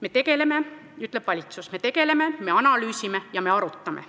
Me tegeleme, ütleb valitsus, me tegeleme, me analüüsime ja me arutame.